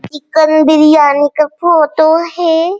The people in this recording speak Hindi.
चिकन बिरयानी का फोटो है।